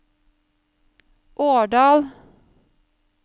Årdal